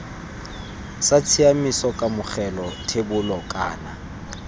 sa tshiaimiso kamogelo thebolo kana